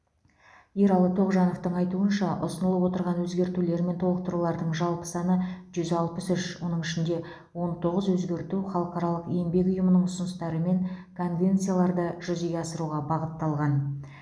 ералы тоғжановтың айтуынша ұсынылып отырған өзгертулер мен толықтырулардың жалпы саны жүз алпыс үш оның ішінде он тоғыз өзгерту халықаралық еңбек ұйымының ұсыныстары мен конвенцияларды жүзеге асыруға бағытталған